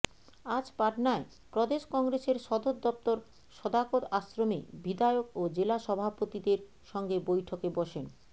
আজ পটনায় প্রদেশ কংগ্রেসের সদর দফতর সদাকত আশ্রমে বিধায়ক ও জেলা সভাপতিদের সঙ্গে বৈঠকে বসেন